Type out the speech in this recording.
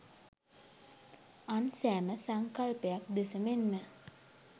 අන් සෑම සංකල්පයක් දෙස මෙන්ම